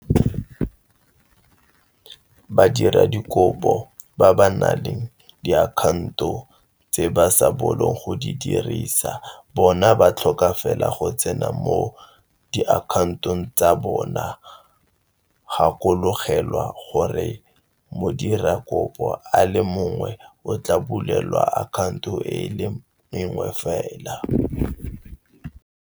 Badiradikopo ba ba nang le diakhaonto tse ba sa bolong go di dirisa bona ba tlhoka fela go tsena mo diakhaontong tsa bona gakologelwa gore modirakopo a le mongwe o tla bulelwa akhaonto e le nngwe fela.